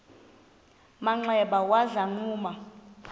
manxeba waza wagquma